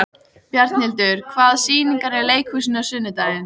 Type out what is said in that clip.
Bjarnhildur, hvaða sýningar eru í leikhúsinu á sunnudaginn?